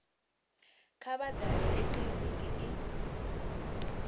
kha vha dalele kiliniki i